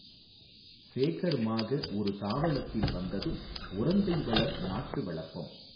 சேகர் மாகஒரு தாவளத்தில் வந்ததும் உறந்தைவளர் நாட்டுவளப்பம்